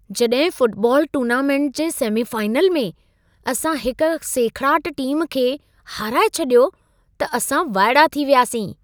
जॾहिं football tournament जे semifinal में असां हिकु सेखड़ाटु टीम खे हाराए छडि॒यो त असां वाइड़ा थी वयासीं।